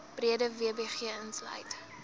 breede wbg insluit